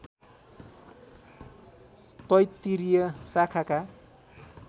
तैत्तिरीय शाखाका